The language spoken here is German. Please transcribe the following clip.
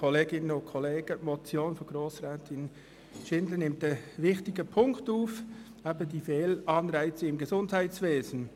Die Motion von Grossrätin Schindler nimmt einen wichtigen Punkt auf: eben die Fehlanreize im Gesundheitswesen.